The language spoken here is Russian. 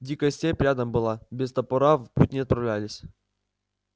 дикая степь рядом была без топора в путь не отправлялись